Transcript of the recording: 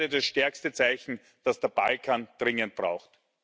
Das wäre das stärkste Zeichen, das der Balkan dringend braucht.